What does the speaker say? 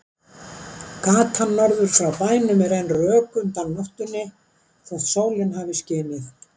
Gatan norður frá bænum er enn rök undan nóttunni þótt sólin hafi skinið.